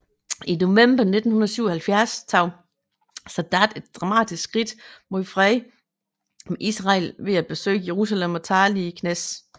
I november 1977 tog Sadat et dramatisk skridt mod fred med Israel ved at besøge Jerusalem og tale i Knesset